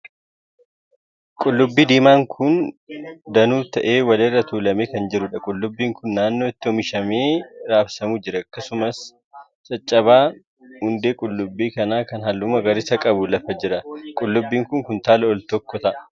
Qullubbii diimaa danuu ta'e kan wal irra tuulamee jiruudha. Qullubbiin kun naannoo itti oomishamee raabsamu jira. Akkasumallee caccabaan hundee qullubbii kanaa kan halluu magariisa qabu lafa jira. Qullubbiin kun kuntaala tokko ol ta'a.